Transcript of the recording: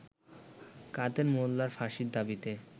কাদের মোল্লার ফাঁসির দাবিতে